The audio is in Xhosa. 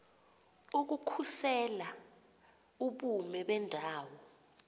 ukukhusela ubume bendawo